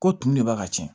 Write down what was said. Ko tumu de b'a ka cɛn